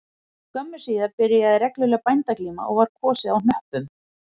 Skömmu síðar byrjaði regluleg bændaglíma og var kosið á hnöppum